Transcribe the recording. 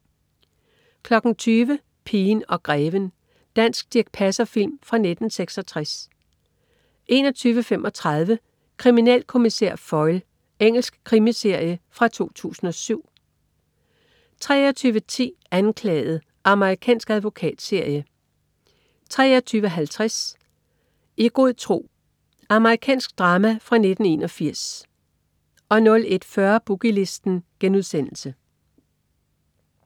20.00 Pigen og greven. Dansk Dirch Passer-film fra 1966 21.35 Kriminalkommissær Foyle. Engelsk krimiserie fra 2007 23.10 Anklaget. Amerikansk advokatserie 23.50 I god tro. Amerikansk drama fra 1981 01.40 Boogie Listen*